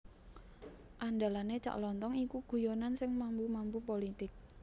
Andalane Cak Lontong iku guyonan sing mambu mambu politik